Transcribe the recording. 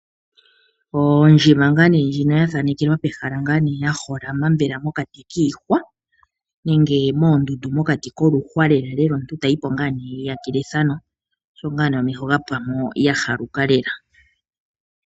Oondjima nga ne ndjino yathanekelwa pehala yaholama mbela mokati kiihwa nenge mondundu mokati koluhwa lela lela omuntu etayipo nga ne eyiyakele ethano osho nga ne omeho gapwamo yahaluka lela.